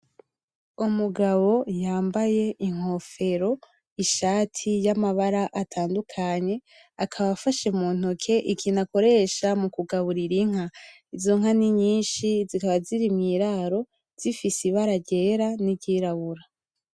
Umugabo yambaye inkofero, ishati yamabara atandukanye, akaba afashe mu ntoke ikintu akoresha mukugaburira inka. Izo nka ni nyinshi zikaba ziri mwiraro zifise ibara ryera niryirabura.